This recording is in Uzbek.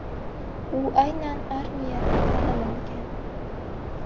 U aynan armiyada ta’lim olgan.